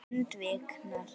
Lund viknar.